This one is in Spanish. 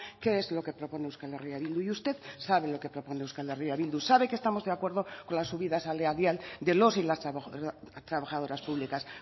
qué es lo que propone euskal herria bildu y usted sabe qué es lo que propone euskal herria bildu sabe que estamos de acuerdo con la subida salarial de los y las trabajadoras públicas